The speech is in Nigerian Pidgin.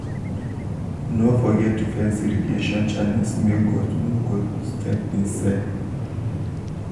no forget to fence irrigation channels make goat no go step inside.